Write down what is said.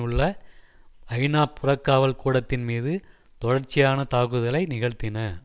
உள்ள ஐநா புறக்காவல் கூடத்தின்மீது தொடர்ச்சியான தாக்குதலை நிகழ்த்தின